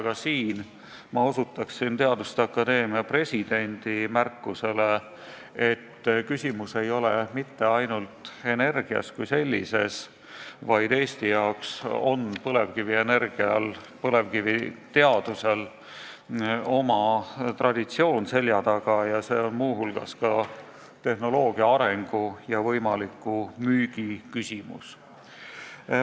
Ka siin ma osutan teaduste akadeemia presidendi märkusele, et küsimus ei ole mitte ainult energias kui sellises, vaid Eestis on põlevkivienergial ja põlevkiviteadusel oma traditsioon, see on muu hulgas tehnoloogia arengu ja võimaliku müügi küsimus.